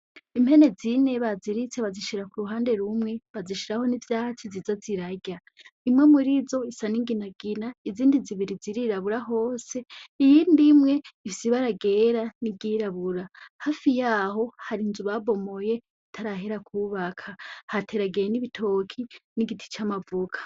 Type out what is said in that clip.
Impene zine baziritse bazishira ku ruhande rumwe bazishiraho n’ivyatsi ziza zirarya, imwe muri zo isa n’inginagina, izindi zibiri zirarabura hose iyindi imwe ifise ibara ryera n’iryirabura . Hafi y’aho hari inzu babomoye itarahera kwubaka hateragiye n’ibitoke n’igiti c’amavoka.